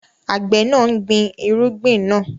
Àgbẹ̀ náà ń gbin irúgbìn náà.